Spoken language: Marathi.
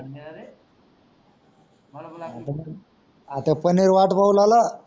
आता पनीर वाट पाहू लागला.